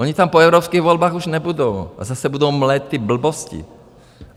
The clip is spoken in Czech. Oni tam po evropských volbách už nebudou, tak zase budou "mlejt" ty blbosti.